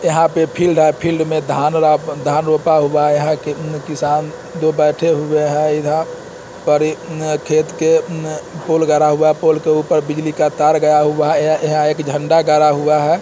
यहाँ पे फील्ड है फील्ड मे धान धान रोपा हुआ है यहाँ के उम्म किसान दो बैठे हुए है इधर परी उम्म खेत के उम्म पोल गिरा हुआ पोल के ऊपर बिजली का तार गया हुआ है यहाँ यहाँ एक झंडा गड़ा हुआ है।